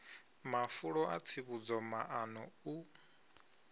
mafulo a tsivhudzo maṱano u